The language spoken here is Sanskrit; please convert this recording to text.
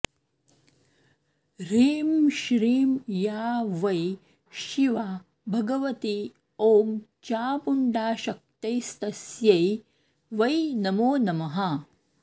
ह्रीं श्रीं या वै शिवा भगवती औं चामुण्डाशक्तिस्तस्यै वै नमो नमः